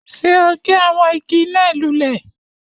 Ṣé o gé àwọn igi náà lulẹ̀?